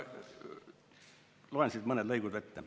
Loen siit mõned lõigud ette.